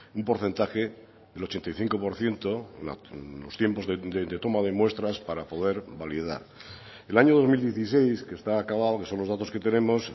un porcentaje del ochenta y cinco por ciento en los tiempos de toma de muestras para poder validar el año dos mil dieciséis que está acabado que son los datos que tenemos